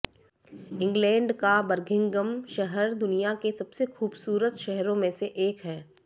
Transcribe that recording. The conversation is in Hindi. इंगलैंड का बर्मिंघम शहर दुनिया के सबसे खूबसूरत शहरों में से एक है